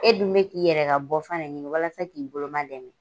E dun bɛ k'i yɛrɛ ka bɔfan de ɲini walasa k'i boloman dɛmɛ.